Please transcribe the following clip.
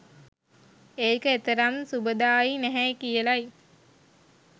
ඒක එතරම් සුබදායී නැහැයි කියලයි